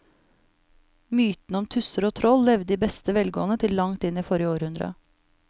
Mytene om tusser og troll levde i beste velgående til langt inn i forrige århundre.